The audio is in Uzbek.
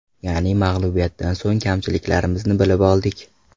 Ya’ni mag‘lubiyatdan so‘ng kamchiliklarimizni bilib oldik.